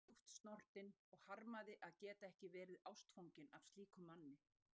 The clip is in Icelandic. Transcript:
Ég var djúpt snortin og harmaði að geta ekki verið ástfangin af slíkum manni.